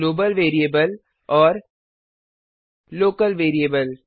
global variable और local variable